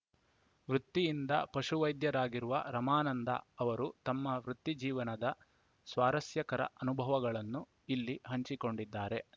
ವೃತ್ತಿಯಿಂದ ಪಶುವೈದ್ಯರಾಗಿರುವ ರಮಾನಂದ ಅವರು ತಮ್ಮ ವೃತ್ತಿ ಜೀವನದ ಸ್ವಾರಸ್ಯಕರ ಅನುಭವಗಳನ್ನು ಇಲ್ಲಿ ಹಂಚಿಕೊಂಡಿದ್ದಾರೆ